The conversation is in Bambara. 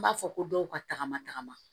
N b'a fɔ ko dɔw ka tagama tagama